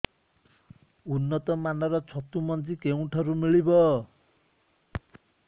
ଉନ୍ନତ ମାନର ଛତୁ ମଞ୍ଜି କେଉଁ ଠାରୁ ମିଳିବ